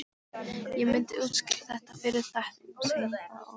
Ég myndi útskýra þetta fyrir þeim seinna- og